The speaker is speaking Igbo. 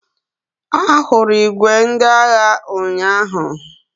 Ahụrụ ìgwè ndị agha ụnyaahụ.